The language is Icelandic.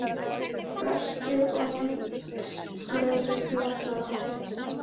Brestir og neistaflug í allar áttir.